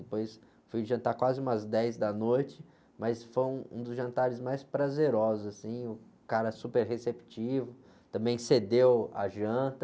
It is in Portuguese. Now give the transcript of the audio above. Depois fui jantar quase umas dez da noite, mas foi um, um dos jantares mais prazerosos, o cara super receptivo, também cedeu a janta,